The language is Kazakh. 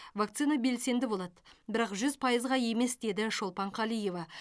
вакцина белсенді болады бірақ жүз пайызға емес деді шолпан қалиева